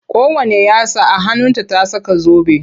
Kowanne yatsa a hannunta ta saka zobe.